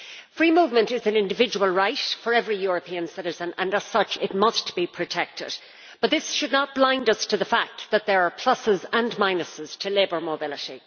Free movement is an individual right of every European citizen and, as such, it must be protected, but this should not blind us to the fact that there are pluses and minuses to labour mobility.